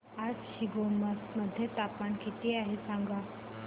आज शिमोगा मध्ये तापमान किती आहे सांगा